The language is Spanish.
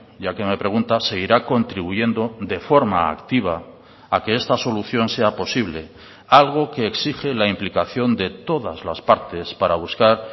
ya que me pregunta seguirá contribuyendo de forma activa a que esta solución sea posible algo que exige la implicación de todas las partes para buscar